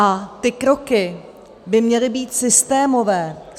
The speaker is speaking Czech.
A ty kroky by měly být systémové.